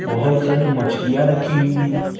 बहुत सारी मछलियां रखी हुई हैं।